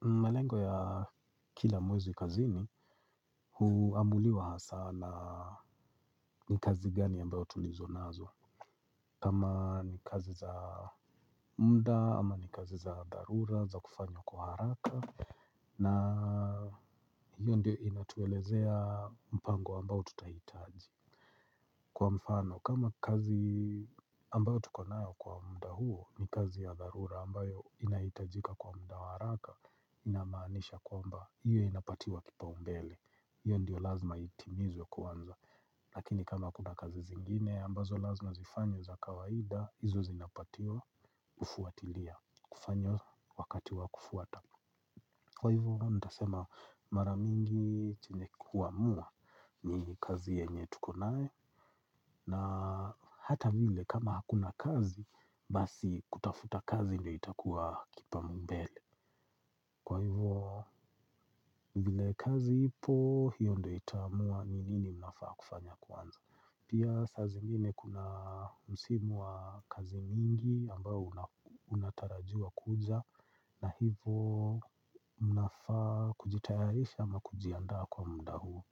Malengo ya kila mwezi kazini huamuliwa hasaa na ni kazi gani ambayo tulizo nazo. Kama ni kazi za muda ama ni kazi za dharura za kufanywa kwa haraka. Na hiyo ndio inatuelezea mpango ambao tutahitaji. Kwa mfano kama kazi ambayo tuko nayo kwa muda huo ni kazi ya dharura ambayo inahitajika kwa muda wa haraka inamaanisha kwamba hiyo inapatiwa kipaumbele hiyo ndiyo lazima itimizwe kwanza lakini kama kuna kazi zingine ambazo lazima zifanywe za kawaida hizi zinapatiwa kufuatilia kufanywa wakati wa kufuata kwa hivo nitasema mara mingi chenye kuamua ni kazi yenye tuko naye na hata vile kama hakuna kazi basi kutafuta kazi ndio itakuwa kipaumbele kwa hivo. Vile kazi ipo hiyo ndo itaamua nini mnafaa kufanya kwanza. Pia saa zingine kuna msimu wa kazi mingi ambao unatarajuwa kuja na hivo mnafaa kujitayarisha ama kujiandaa kwa muda huu.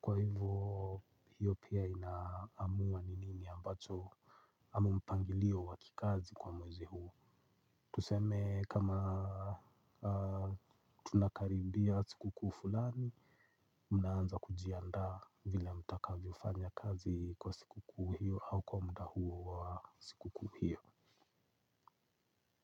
Kwa hivo hiyo pia inaamua ni nini ambacho amu mpangilio wa kikazi kwa mwezi huo. Tuseme kama tunakaribia sikukuu fulani. Mnaanza kujiandaa vila mutakavyofanya kazi kwa sikukuu hiyo au kwa muda huo wa sikukuu hiyo.